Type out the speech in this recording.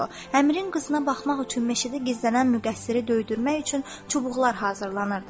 Əmirin qızına baxmaq üçün meşədə gizlənən müqəssiri döydürmək üçün çubuqlar hazırlanırdı.